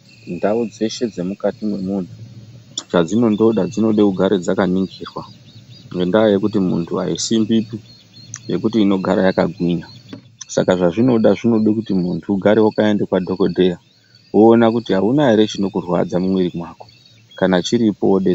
Ndau dzeshe dzemukati mwemunhu chadzinondoda dzinode kugara dzakaningirwa ngendaa yekuti muntu aisimbipi yekuti inogara yakagwinya , saka zvazvinoda zvinoda kuti muntu ugare wakaenda kwadhokodheya woona kuti aunaere chinokurwadza mumwiri mako kana chiripo wode.